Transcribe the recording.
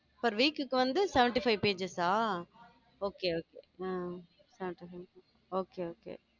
four week க்கு வந்து seventy-five pages ஆ okay okay உம் okay okay